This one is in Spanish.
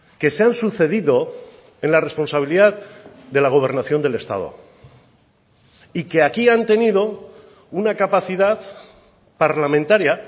que se han sucedido en la responsabilidad de la gobernación del estado y que aquí han tenido una capacidad parlamentaria